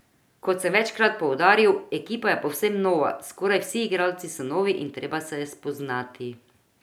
Kot sem večkrat poudaril, ekipa je povsem nova, skoraj vsi igralci so novi in treba se je spoznati.